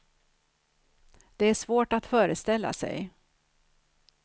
Det är svårt att föreställa sig.